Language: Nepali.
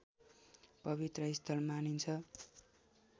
पवित्र स्थल मानिन्छ